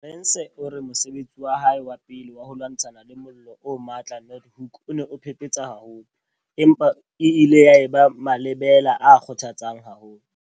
Arendse o re mosebetsi wa hae wa pele wa ho lwantshana le mollo o matla Noordhoek o ne o phephetsa haholo, empa e ile ya eba malebela a kgothatsang haholo.